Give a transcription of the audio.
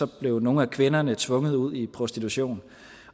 blev nogle af kvinderne tvunget ud i prostitution